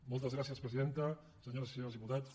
moltes gràcies presidenta senyores i senyors diputats